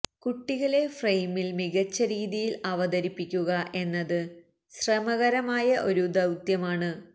കുട്ടികളെ ഫ്രെയിമില് മികച്ച രീതിയില് അവതരിപ്പിക്കുക എന്നത് ശ്രമകരമായ ഒരു ദൌത്യമാണ്